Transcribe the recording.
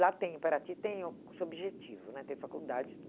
Lá tem em Paraty, tem o seu objetivo né, tem faculdade